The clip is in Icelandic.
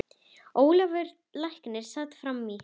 Ólafur læknir sat fram í.